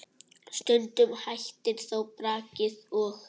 Stundum hættir þó brakið og